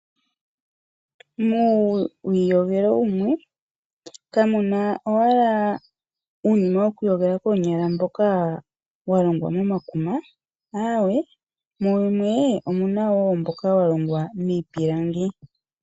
Muuyogelo wumwe kamu na owala uunima wokwiiyogela koonyala mboka wa longwa momakuma aawe mu wumwe omu na wo mboka wa longwa miipilangi.